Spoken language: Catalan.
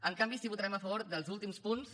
en canvi sí que votarem a favor dels últims punts